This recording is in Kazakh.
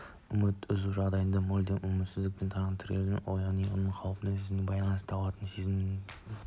үміт үзу жағдайдың мүлдем үмітсіздігі мен тығырыққа тірелуін ұғыну мен өлім қаупінің сөзсіздігіне байланысты туатын сезімөйткені